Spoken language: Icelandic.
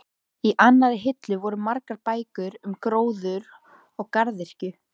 Í annarri hillu voru margar bækur um gróður og garðyrkju.